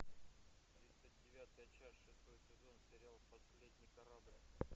тридцать девятая часть шестой сезон сериал последний корабль